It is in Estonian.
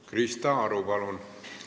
Krista Aru, palun!